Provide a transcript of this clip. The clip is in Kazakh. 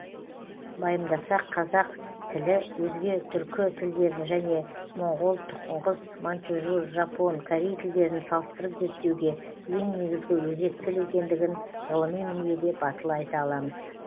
байымдасақ қазақ тілі өзге түркі тілдерін және моңғол тұңғыс маньчжур жапон корей тілдерін салыстырып зерттеуге ең негізгі өзек тіл екендігін ғылыми мінбеде батыл айта аламыз